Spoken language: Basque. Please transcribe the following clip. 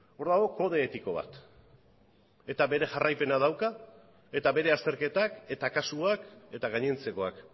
hor dago kode etiko bat eta bere jarraipena dauka eta bere azterketak eta kasuak eta gainontzekoak